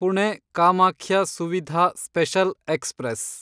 Pune Kamakhya Suvidha special express